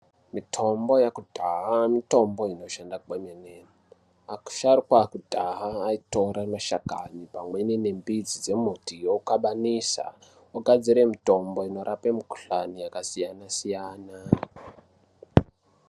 Mitombo yakudhaya, mitombo inoshanda kwemene. Asharukwa akudaya ayitora mashakani pamweni nembidzi dzemuti wokabanisa, wogadzire mutombo inorape mikhuhlane yakasiyana siyana.